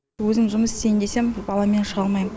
өзім жұмыс істейін десем баламен шыға алмаймын